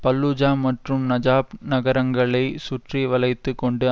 Fallujah மற்றும் Najaf நகரங்களை சுற்றி வளைத்து கொண்டு